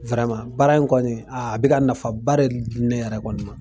baara in kɔni a bɛka nafaba de di ne yɛrɛ kɔni ma.